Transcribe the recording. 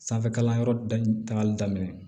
Sanfɛkalanyɔrɔ dagali daminɛ